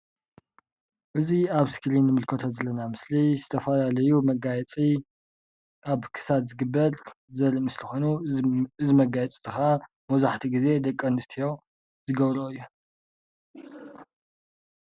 እዙይ ኣብ እስክሪን እንምልከቶ ዘለና ምስሊ ዝተፈላለዩ መጋየፂ ኣብ ክሳድ ዝግበር ዘርኢ ምስሊ ኮይኑ፤ እዙይ መጋየፂ ከዓ መብዛሕቲኡ ግዜ ደቂ ኣንስትዮ ዝገብረኦ እዩ።